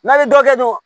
N'a ye dɔ kɛ dun